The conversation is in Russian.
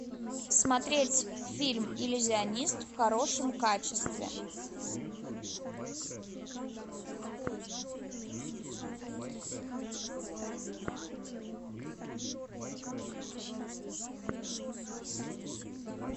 смотреть фильм иллюзионист в хорошем качестве